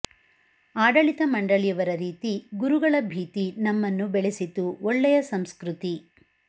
ಆಡಳಿತ ಮಂಡಳಿಯವರ ರೀತಿ ಗುರುಗಳ ಭೀತಿ ನಮ್ಮನ್ನು ಬೆಳೆಸಿತು ಒಳೇಯ ಸಂಸ್ಕ್ರತಿ